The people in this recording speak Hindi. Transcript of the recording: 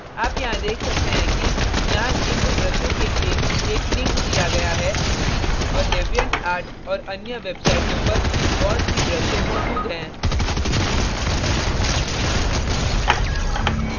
आप यहाँ देख सकते हैं कि यहाँ gimp ब्रशों के लिए एक link दिया गया है और deviantart और अन्य वेबसाईटों पर बहुत see ब्रशें मौजूद हैं